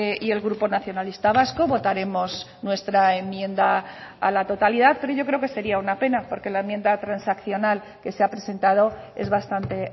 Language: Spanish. y el grupo nacionalista vasco votaremos nuestra enmienda a la totalidad pero yo creo que sería una pena porque la enmienda transaccional que se ha presentado es bastante